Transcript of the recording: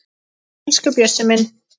Elsku Bjössi minn.